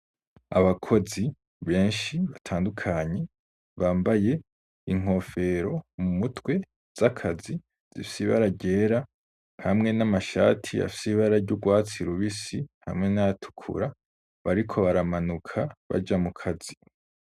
Abakozi benshi, batandukanye, bambaye inkofero mu mutwe, z'akazi, zifise ibara ryera, hamwe n'amashati afise ibara ry'urwatsi rubisi, hamwe n'ayatukura; bariko baramanuka, baja mu kazi.